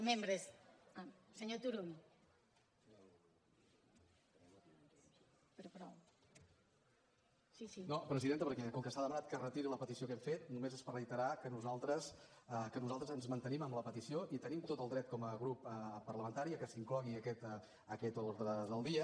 presidenta perquè com que s’ha demanat que es retiri la petició que hem fet només és per reiterar que nosaltres ens mantenim en la petició i tenim tot el dret com a grup parlamentari que s’inclogui a aquest ordre del dia